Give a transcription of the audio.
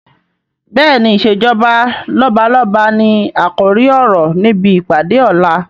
Bẹ́ẹ̀ni, "ìsèjọba lọ́balọ́ba ni àkòrí ọ̀rọ̀ níbi ìpàdé ọ̀la